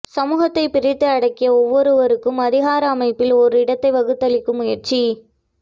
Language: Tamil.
சமூகத்தைப் பிரித்து அடுக்கி ஒவ்வொருவருக்கும் அதிகார அமைப்பில் ஓர் இடத்தை வகுத்தளிக்கும் முயற்சி